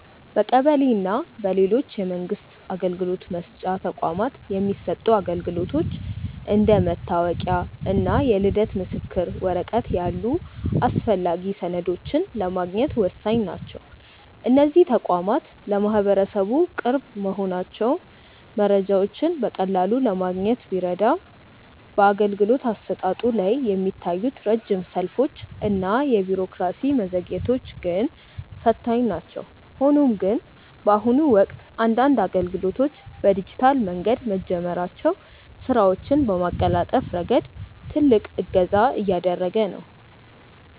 በቀበሌ እና በሌሎች የመንግስት አገልግሎት መስጫ ተቋማት የሚሰጡ አገልግሎቶች እንደ መታወቂያ እና የልደት ምስክር ወረቀት ያሉ አስፈላጊ ሰነዶችን ለማግኘት ወሳኝ ናቸው። እነዚህ ተቋማት ለማህበረሰቡ ቅርብ መሆናቸው መረጃዎችን በቀላሉ ለማግኘት ቢረዳም፣ በአገልግሎት አሰጣጡ ላይ የሚታዩት ረጅም ሰልፎች እና የቢሮክራሲ መዘግየቶች ግን ፈታኝ ናቸው። ሆኖም ግን፣ በአሁኑ ወቅት አንዳንድ አገልግሎቶች በዲጂታል መንገድ መጀመራቸው ስራዎችን በማቀላጠፍ ረገድ ትልቅ እገዛ እያደረገ ነው።